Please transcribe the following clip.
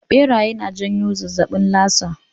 Ɓeraye na janyo zazzaɓin lasa